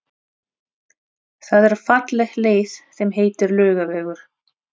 Það er falleg leið sem heitir Laugavegur.